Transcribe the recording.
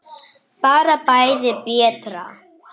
Bara bæði betra.